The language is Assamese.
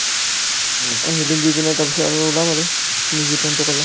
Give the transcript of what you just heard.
অন্জলী দি পিনে তাৰপিছত ওলাম আৰু তুমি যি plan টো কলা